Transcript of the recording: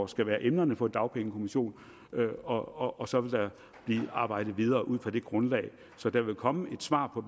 skal være emnerne for dagpengekommissionen og og så vil der blive arbejdet videre ud fra det grundlag så der vil komme et svar på